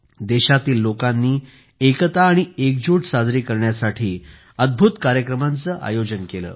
देशातील लोकांनी एकता आणि एकजुट साजरी करण्यासाठी अद्भूत कार्यक्रमांचे आयोजन केले